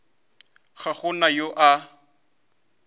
ga go na yo a